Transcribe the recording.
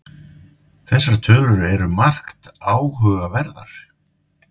Þessar tölur eru margt áhugaverðar